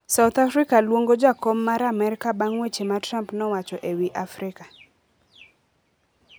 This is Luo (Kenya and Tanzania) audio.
South Africa luongo jakom mar Amerka bang' weche ma Trump nowacho e wi Afrika